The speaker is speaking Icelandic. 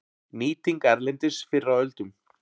Nýting erlendis fyrr á öldum